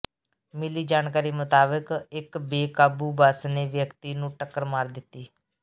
ਮਿਲੀ ਜਾਣਕਾਰੀ ਮੁਤਾਬਕ ਇੱਕ ਬੇਕਾਬੂ ਬੱਸ ਨੇ ਵਿਅਕਤੀ ਨੂੰ ਟੱਕਰ ਮਾਰ ਦਿੱਤੀ